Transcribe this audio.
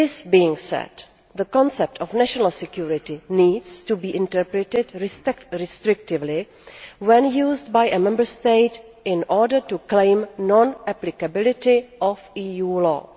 Having said this, the concept of national security needs to be interpreted restrictively when used by a Member State in order to claim the non applicability of EU law.